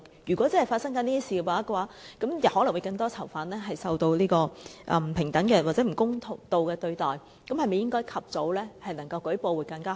如果真的有發生這些事情，可能會有更多囚犯受不平等或不公道的對待，那麼及早舉報會否更好？